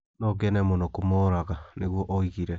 No ngene mũno kũmooraga", nĩguo oigire.